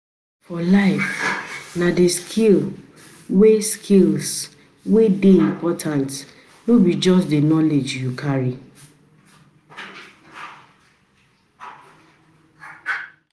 For life, na the skills wey skills wey dey important, no be just the knowledge you carry.